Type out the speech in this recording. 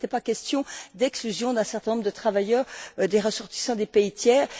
Donc il n'était pas question d'exclusion d'un certain nombre de travailleurs ressortissants des pays tiers.